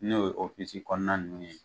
N'o ye kɔnɔna ninnu ye,